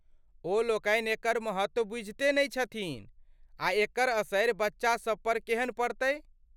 ओ लोकनी एकर महत्व बुझिते नहि छथिन आ एकर असरि बच्चा सभ पर केहन पड़तै।